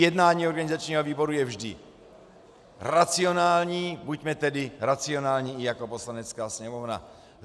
Jednání organizačního výboru je vždy racionální, buďme tedy racionální i jako Poslanecká sněmovna.